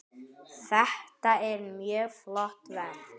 Þetta er mjög flott verk.